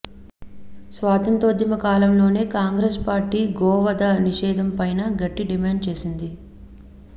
స్వాతంత్య్రోద్యమ కాలంలోనే కాంగ్రెస్ పార్టీ గోవధ నిషేధంపై గట్టి డిమాండ్ చేసింది